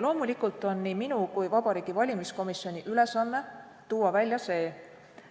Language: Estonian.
Loomulikult on nii minu kui ka Vabariigi Valimiskomisjoni ülesanne tuua välja see,